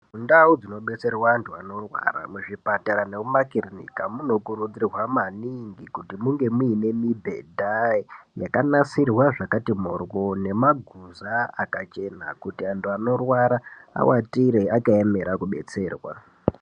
Mundau dzinobetserwa antu anorwara, muzvipatara nemumakirinika, munokurudzirwa maningi, kuti munge muine mibhedha yakanasirwa zvakati moryo, nemaguza akachena, kuti antu anorwara awatire akaemera kubetserwa.